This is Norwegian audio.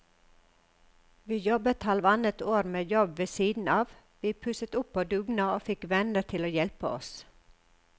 Vi jobbet halvannet år med jobb ved siden av, vi pusset opp på dugnad og fikk venner til å hjelpe oss.